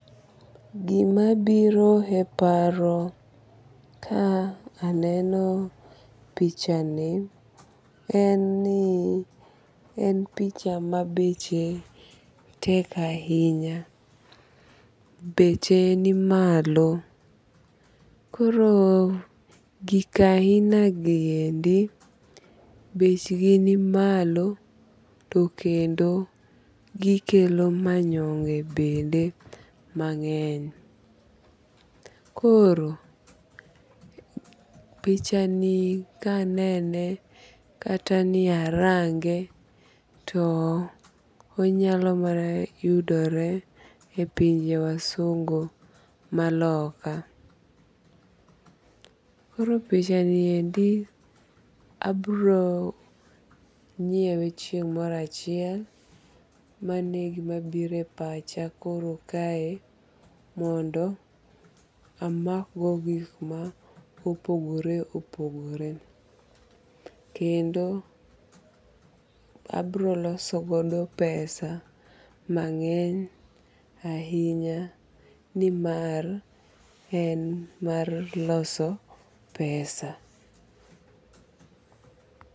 Gima biro e paro ka aneno picha ni en ni en picha ma beche tek ahinya. Beche ni malo. Koro gik ahina niendi bech gi ni malo to kendo gikelo manyonge bende mang'eny. Koro picha ni kanene kata ni arange to onyalo mana yudore e pinje wasungu maloka. Koro picha niendi abiro nyiewe chieng' moro achiel. Mano e gima biro e pacha koro kae mondo amak go gik ma opogore opogore. Kendo abiro loso godo pesa mang'eny ahinya nimar en mar loso pesa.